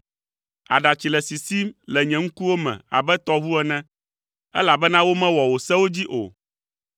Aɖatsi le sisim le nye ŋkuwo me abe tɔʋu ene, elabena womewɔ wò sewo dzi o.